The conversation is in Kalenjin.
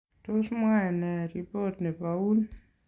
Tos mwae nee ripot nebo Un?